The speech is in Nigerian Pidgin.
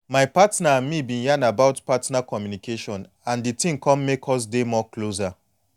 my partner and me been yan about partner communication and the thing come make us dey more closer)